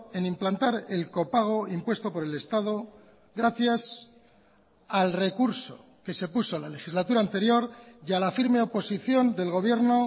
en implantar el copago impuesto por el estado gracias al recurso que se puso la legislatura anterior y a la firme oposición del gobierno